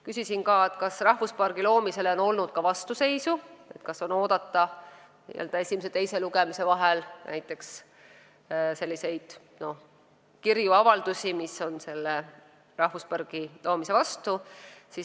Küsisin ka, kas rahvuspargi loomisele on olnud vastuseisu, kas näiteks esimese ja teise lugemise vahel on oodata selliseid kirju või avaldusi, mis on selle rahvuspargi loomise vastu.